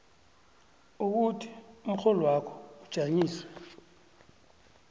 ukuthi umrholwakho ujanyiswe